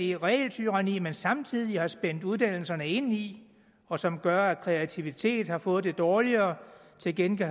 det regeltyranni man samtidig har spændt uddannelserne ind i og som gør at kreativiteten har fået det dårligere til gengæld